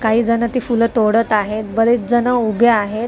काही जणं ती फुलं तोडत आहेत बरेच जणं उभे आहेत.